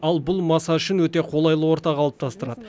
ал бұл маса үшін өте қолайлы орта қалыптастырады